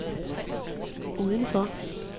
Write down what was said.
udenfor